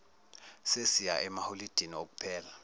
sesiya emaholidini okuphela